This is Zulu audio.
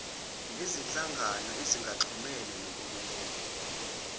nezinhlangano ezingaxhumene nohulumeni